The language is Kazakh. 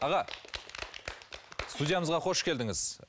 аға студиямызға қош келдіңіз